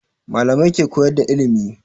Malamai ke koyar da ilimi